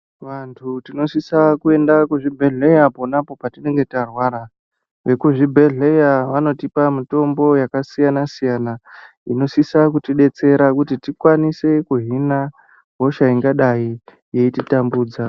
Vantu tinosisa kuenda kuzvibhedhleya ponapo patinenge tarwara. Vekuzvibhendleya vanotipa mitombo yakasiyana siyana inosisa kutidetsera kuti tikwanise kuhina hosha ingadai yeititambudza.